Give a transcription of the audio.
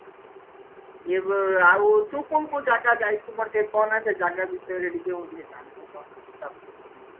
ଏ ଆଉ ତୁ କୋଉ କୋଉ ଜାଗା ଯାଇଛୁ ମତେ ଟିକେ କହନା ସେ ଜାଗା ବିଷୟରେ ଟିକେ ମୁଁ ଟିକେ ଜାଣେ